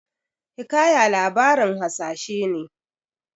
Hikaya labarin hasashe ne.